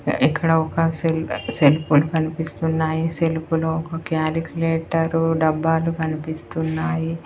ఇక్కడ ఒక సెల్ సెల్ఫులు కనిపిస్తున్నాయి సెల్ఫ్ లో ఒక క్యాలిక్యులేటరు డబ్బాలు కనిపిస్తున్నాయి.